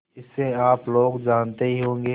इसे आप लोग जानते ही होंगे